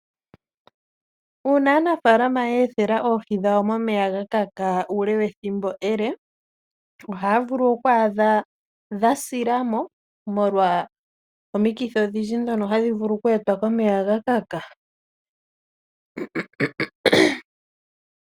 Una aanafalama yethela oohii dhawo moneya gakaka ule wethimbo ele, Ohavulu okwadha dhasilamo molwa omikithi oshindji dhono hadhivulu okwetwa komeya gakaka.